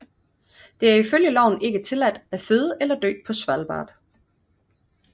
Det er i følge loven ikke tilladt at føde eller dø på Svalbard